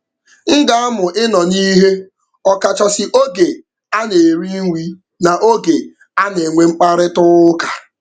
M ga-amụ ịnọ n'ihe ọ kachasị oge a na-eri nri na oge a na-enwe mkparịtaụka.